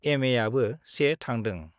एमएआबो 1 थादों।